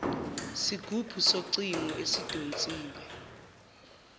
sigubhu socingo esidonsiwe